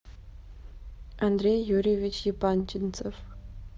андрей юрьевич епанчинцев